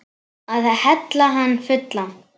Að hella hann fullan.